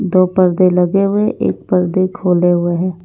दो पर्दे लगे हुए एक पर्दे खोले हुए हैं।